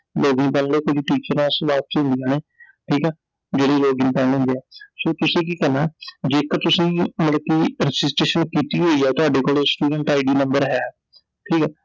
login ਕਰਲੋ ਤੁਸੀਂ teachers ਨੂੰ ਬਾਅਦ ਚ ਹੀ ਮਿਲਣੈI ਠੀਕ ਐ I ਜਿਹੜੇ Login ਹੁੰਦੇ ਐ, ਸੋ ਤੁਸੀਂ ਕੀ ਕਰਨਾ ਜੇਕਰ ਤੁਸੀਂ ਮਤਲਬ ਕਿ Registration ਕੀਤੀ ਹੋਈ ਐ, ਤੁਹਾਡੇ ਕੋਲ StudentID ਨੰਬਰ ਹੈ I ਠੀਕ ਐ